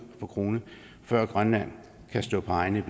for krone før grønland kan stå på egne